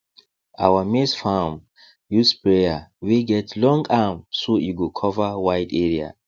our maize farm use sprayer wey get long arm so e go cover wide area